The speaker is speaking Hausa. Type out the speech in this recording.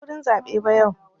Ban je wurin zaɓe ba yau.